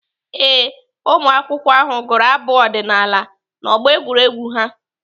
Ee, ụmụakwụkwọ ahụ gụrụ abụ ọdịnaala n'ọgbọ egwuregwu ha.